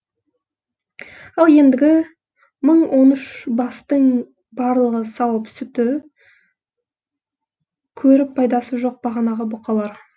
ал ендігі мың он үш бастың барлығы сауып сүті көріп пайдасы жоқ бағанағы бұқалар